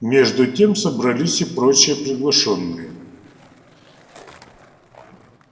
между тем собрались и прочие приглашённые